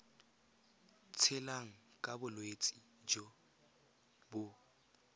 tshelang ka bolwetsi jo bo